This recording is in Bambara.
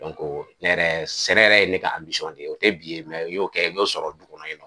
ne yɛrɛ sɛnɛ yɛrɛ ye ne ka de ye o tɛ bi ye n y'o kɛ n y'o sɔrɔ du kɔnɔ yen.